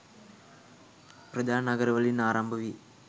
ප්‍රධාන නගරවලින් ආරම්භවී